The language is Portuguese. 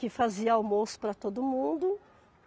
Que fazia almoço para todo mundo.